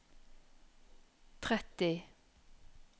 tretti